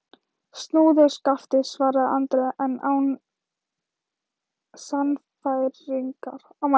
Snúðu skafti, svaraði Andri, en án sannfæringar.